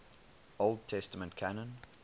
old testament canon